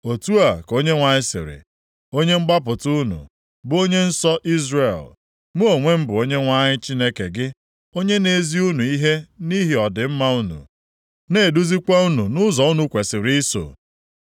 Otu a ka Onyenwe anyị sịrị, Onye mgbapụta unu, bụ Onye nsọ Izrel, “Mụ onwe m bụ Onyenwe anyị Chineke gị, onye na-ezi unu ihe nʼihi ọdịmma unu, na-eduzikwa unu nʼụzọ unu kwesiri iso.